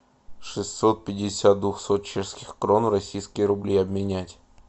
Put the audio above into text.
шестьсот пятьдесят двухсот чешских крон в российские рубли обменять